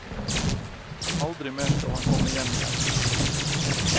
Aldri mer skal han komme hjem igjen.